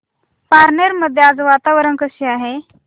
पारनेर मध्ये आज वातावरण कसे आहे